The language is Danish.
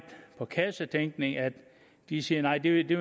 kassetænkning at de siger at det det